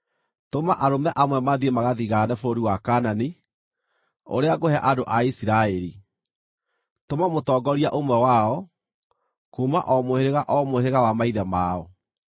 “Tũma arũme amwe mathiĩ magathigaane bũrũri wa Kaanani, ũrĩa ngũhe andũ a Isiraeli. Tũma mũtongoria ũmwe wao, kuuma o mũhĩrĩga o mũhĩrĩga wa maithe mao.”